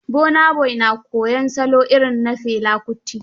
Burna Boy na koyon salo irin na Fela Kuti